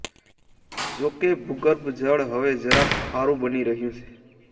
જો કે ભૂગર્ભ જળ હવે જરાક ખારૂંબની રહ્યું છે